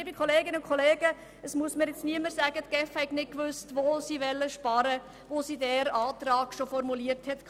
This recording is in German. Liebe Kolleginnen und Kollegen, es muss mir niemand sagen, die GEF habe nicht gewusst, wo sie sparen will, zumal sie diesen Antrag bereits formuliert hatte.